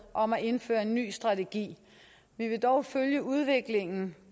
om at indføre en ny strategi vi vil dog følge udviklingen